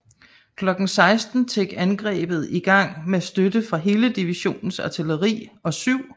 Klokken 16 tik angrebet i gang med støtte fra hele divisionens artilleri og 7